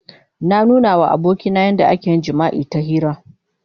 Na nuna wa abokina yadda ake yin jima'i ta hira.